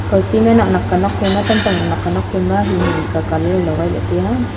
kaw ti ma nak nak ka nuak phai ma kantong hing hing ka colour logai tai a.